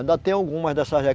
Ainda tem algumas dessas